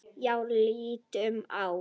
Já, líttu á.